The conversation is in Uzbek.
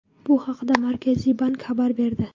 Bu haqda Markaziy bank xabar berdi.